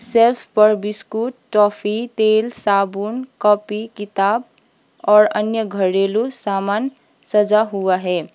Desk पर biscuit toffee तेल साबुन कॉपी किताब और अन्य घरेलू सामान सजा हुआ है।